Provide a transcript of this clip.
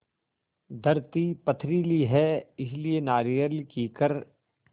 धरती पथरीली है इसलिए नारियल कीकर